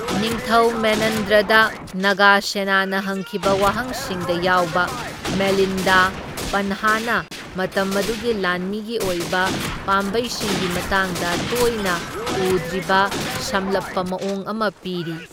ꯅꯤꯡꯊꯧ ꯃꯦꯅꯟꯗꯔꯗ ꯅꯥꯒꯥꯁꯦꯅꯥꯅ ꯍꯪꯈꯤꯕ ꯋꯥꯍꯪꯁꯤꯡꯗ ꯌꯥꯎꯕ, ꯃꯤꯂꯤꯟꯗꯥ ꯄꯟꯍꯥꯅ ꯃꯇꯝ ꯑꯗꯨꯒꯤ ꯂꯥꯟꯃꯤꯒꯤ ꯑꯣꯏꯕ ꯄꯥꯝꯕꯩꯁꯤꯡꯒꯤ ꯃꯇꯥꯡꯗ ꯇꯣꯏꯅ ꯎꯗ꯭ꯔꯤꯕ ꯁꯝꯂꯞꯄ ꯃꯑꯣꯡ ꯑꯃ ꯄꯤꯔꯤ꯫